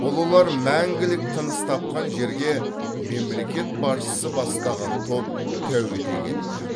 ұлылар мәңгілік тыныс тапқан жерге мемлекет басшысы бастаған топ тәу ете келді